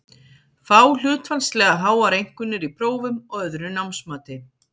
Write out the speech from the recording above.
Fá hlutfallslega háar einkunnir í prófum og öðru námsmati.